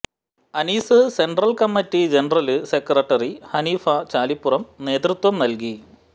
Aseer central committee general secretary Haneefa Chalippuram നേതൃത്വം നല്കി